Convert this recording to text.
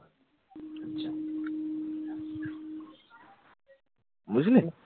বুঝলি?